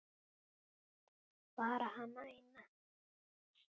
Bara hana eina.